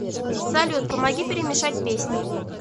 салют помоги перемешать песни